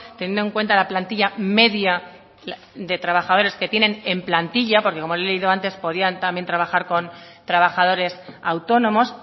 teniendo en cuenta la plantilla media de trabajadores que tienen en plantilla porque como he leído antes podían trabajar también con trabajadores autónomos